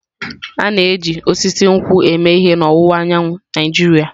A na-eji osisi nkwụ eme ihe n'ọwụwa anyanwụ Naijiria.